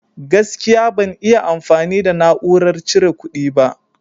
Gaskiya, ban iya amfani da na'urar cire ƙudi ba.